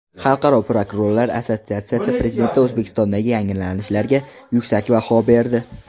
Xalqaro prokurorlar assotsiatsiyasi prezidenti O‘zbekistondagi yangilanishlarga yuksak baho berdi.